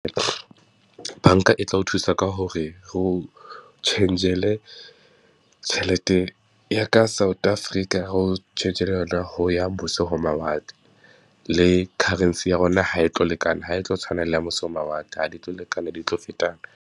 Banka e tla o thusa ka hore o tjhentjhele tjhelete ya ka South Africa ho ya mose ho mawatle, le currency ya rona ha e tlo lekana ha e tlo tshwana le ya mose ho mawatle, ha di tlo lekana, di tlo fetana.